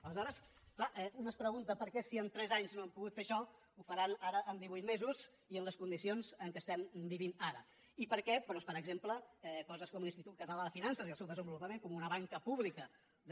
aleshores clar un es pregunta per què si en tres anys no han pogut fer això ho faran ara en divuit mesos i en les condicions en què estem vivint ara i perquè doncs per exemple coses com l’institut català de finances i el seu desenvolupament com una banca pública de